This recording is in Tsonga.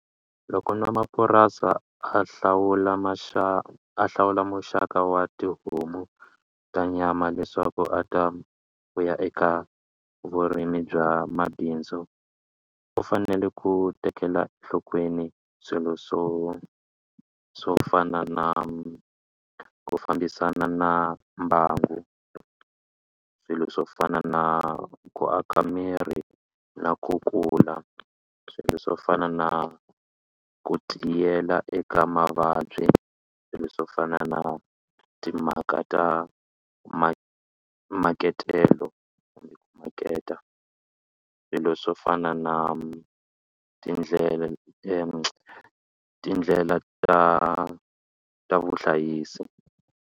Loko n'wamapurasi a hlawula a hlawula muxaka wa tihomu ta nyama leswaku a ta fuya eka vurimi bya mabindzu u fanele ku tekela enhlokweni swilo swo swo fana na ku fambisana na mbangu swilo swo fana na ku aka miri na ku kula swilo swo fana na ku tiyela eka mavabyi swilo swo fana na timhaka ta ma makatelo kumbe ku maketa swilo swo fana na tindlela tindlela ta ta vuhlayisi.